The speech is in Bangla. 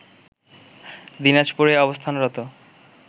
দিনাজপুরে অবস্থানরত